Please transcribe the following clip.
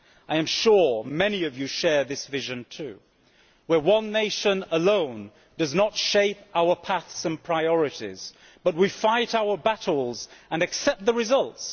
I am sure many of you also share this vision, in which one nation alone does not shape our paths and priorities, but we fight our battles and accept the results.